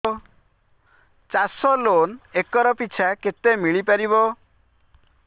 ଚାଷ loan acre ପିଛା କେତେ ମିଳି ପାରିବ